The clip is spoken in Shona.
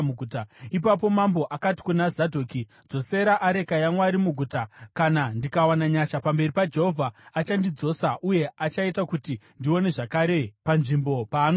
Ipapo mambo akati kuna Zadhoki, “Dzosera areka yaMwari muguta. Kana ndikawana nyasha pamberi paJehovha, achandidzosa uye achaita kuti ndione zvakare panzvimbo paanogara.